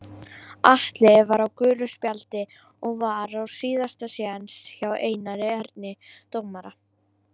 Atli var á gulu spjaldi og var á síðasta séns hjá Einari Erni dómara.